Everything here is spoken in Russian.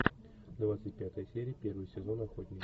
двадцать пятая серия первый сезон охотник